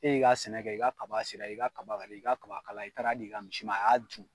E y'i ka sɛnɛ kɛ i ka kaba sera, i ka kaba i ka kaba kala i taar'a d'i ka misi ma, a y'a dun.